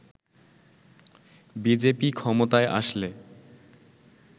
BJP ক্ষমতায় আসলে